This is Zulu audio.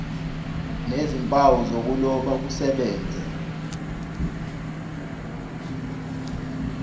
nezimpawu zokuloba kusebenze